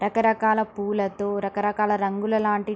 రకరకాల పువ్వులతో రకరకాల రంగుల లాంటి --